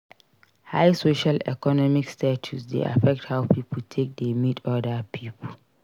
High social economic status dey affect how pipo take dey meet oda pipo